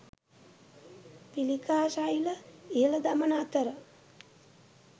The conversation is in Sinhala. පිළිකා සෛල ඉහළ දමන අතර